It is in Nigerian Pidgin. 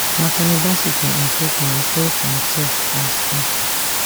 nathaniel bassey for im profile refer to imsef as pastor